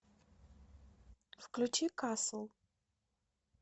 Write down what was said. включи касл